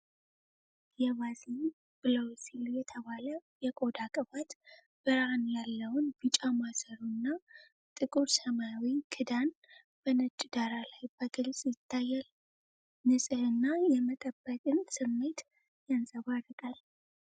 የቫዝሊን ብሉውሲል የተባለ የቆዳ ቅባት ብርሃን ያለውን ቢጫ ማሰሮ እና ጥቁር ሰማያዊ ክዳን በነጭ ዳራ ላይ በግልጽ ይታያል። የንጽህና የመጠበቅን ስሜት ያንጸባርቃል።